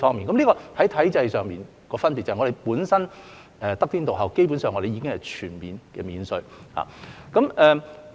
這是體制上的差別，香港本身得天獨厚，基本上全面免稅。